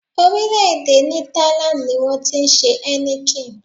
Orílẹ̀-èdè Netherlands ni wọn ti ṣe Heineken.